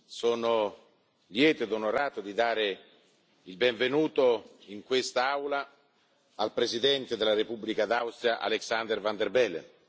sono lieto ed onorato di dare il benvenuto in questa Aula al Presidente della Repubblica d'Austria Alexander Van der Bellen.